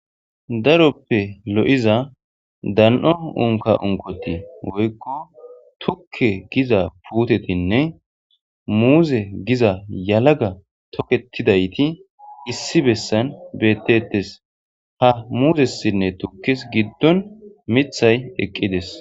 daroppe lo7iza dan7o unka unkoti woykko tukke giza putetinne muuze giza yalaga toketidayti issi bessan bettettes ha muuzessinne tukkis giddon mithay eqqides